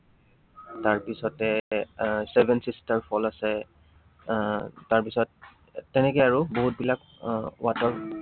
তাৰপিছতে আহ এৰ চেভেন চিষ্টাৰ falls আছে, আহ তাৰপিছত তেনেকে আৰু বহুত বিলাক আহ water